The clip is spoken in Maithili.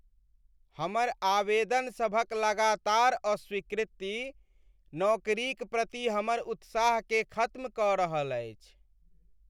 हमर आवेदनसभक लगातार अस्वीकृति नौकरीक प्रति हमर उत्साहकेँ खत्म कऽ रहल अछि।